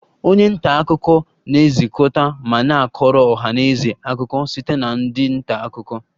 Onye nta akụkọ na-ezukọta ma na-akọrọ ọha na eze akụkọ site na ndị nta akụkọ